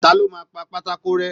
Ta ló máa pà pátákó rẹ́?